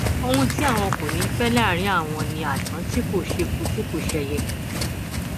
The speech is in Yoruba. ohun tí àwọn kò ní í fẹ láàrín àwọn ni àdán tí kò ṣeku tí kò ṣẹyẹ